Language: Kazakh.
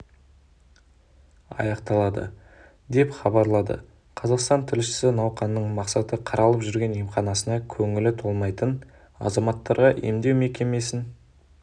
аяқталады деп хабарлады қазақстан тілшісі науқанның мақсаты қаралып жүрген емханасына көңілі толмайтын азаматтарға емдеу мекемесін